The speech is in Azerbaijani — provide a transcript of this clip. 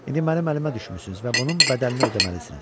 İndi mənim əlimə düşmüsünüz və bunun bədəlini ödəməlisiniz.